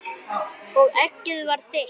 Og eggið var þitt!